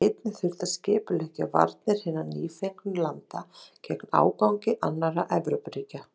Einnig þurfti að skipuleggja varnir hinna nýfengnu landa gegn ágangi annarra Evrópuríkja.